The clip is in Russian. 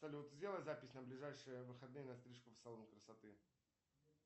салют сделай запись на ближайшие выходные на стрижку в салон красоты